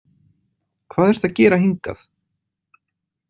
Hvað ertu að gera hingað?